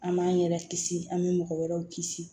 An b'an yɛrɛ kisi an bɛ mɔgɔ wɛrɛw kisi